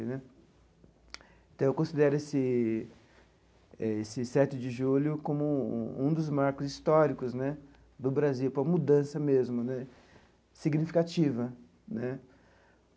Então, eu considero esse esse sete de julho como um um um dos marcos históricos né do Brasil, uma mudança mesmo né, significativa né.